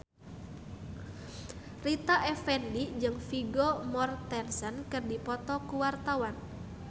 Rita Effendy jeung Vigo Mortensen keur dipoto ku wartawan